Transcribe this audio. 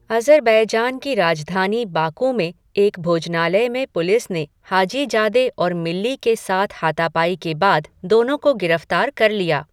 Azerbaijan की राजधानी Baku में एक भोजनालय में पुलिस ने हाजीजादे और मिल्ली के साथ हाथापाई के बाद, दोनों को गिरफ्तार कर लिया।